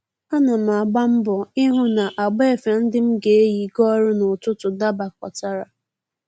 Ana m agba mbọ ịhụ na agba efe ndị m ga-eyi gaa ọrụ n'ụtụtụ dabakọtara